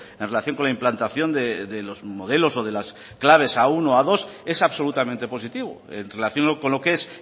en relación con la implantación de los modelos o de las claves a uno o a dos es absolutamente positivo en relación con lo que es